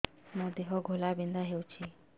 ମୋ ଦେହ ଘୋଳାବିନ୍ଧା ହେଉଛି